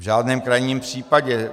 V žádném krajním případě.